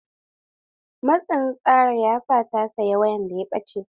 Matsin tsara ya sa ta saya wayan da ya ɓacce.